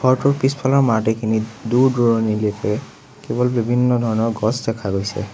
ঘৰটোৰ পিছফালৰ মাৰটিখিনিত দূৰ-দূৰণিলেকে কেৱল বিভিন্ন ধৰণৰ গছ দেখা গৈছে।